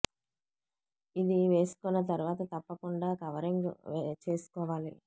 ఇది వేసు కున్న తర్వాత తప్పకుండా కవరింగ్ చేసుకో వాలి